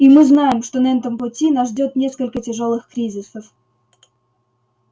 и мы знаем что на этом пути нас ждёт несколько тяжёлых кризисов